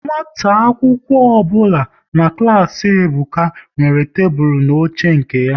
Nwata akwụkwọ ọbụla nọ n'klas Ebuka nwere tebụl na oche nke ya